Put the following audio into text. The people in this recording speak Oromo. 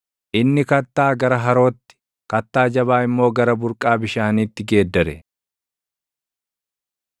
inni kattaa gara harootti, kattaa jabaa immoo gara burqaa bishaaniitti geeddare.